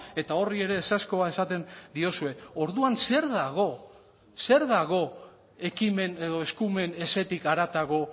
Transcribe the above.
eta horri ere ezezkoa esaten diozue orduan zer dago zer dago ekimen edo eskumen ezetik haratago